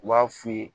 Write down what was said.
U b'a f'i ye